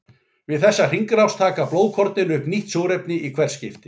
Við þessa hringrás taka blóðkornin upp nýtt súrefni í hvert skipti.